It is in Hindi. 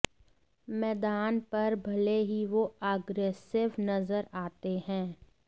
मैदान पर भले ही वो अग्रेसिव नजर आते हैं